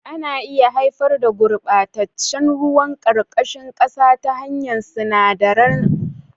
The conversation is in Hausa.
Ana iya haifar da gurɓataccen ruwan ƙarƙashin ƙasa ta hanyar sinadarai da ake amfani da su wajen wanke mota.